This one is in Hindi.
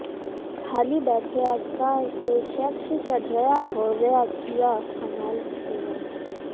ढाली बैठया का सैंसेक्स चढरया होरया किया कमाल सूनो